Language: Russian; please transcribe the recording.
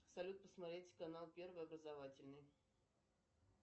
салют посмотреть канал первый образовательный